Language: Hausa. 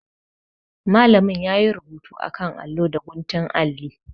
Malamin yayi rubutu akan allo da guntun alli.